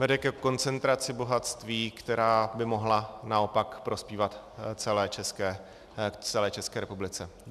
Vede ke koncentraci bohatství, které by mohlo naopak prospívat celé České republice.